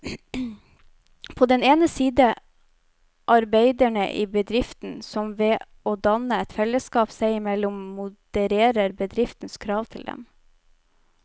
På den ene side arbeiderne i bedriften, som ved å danne et fellesskap seg imellom modererer bedriftens krav til dem.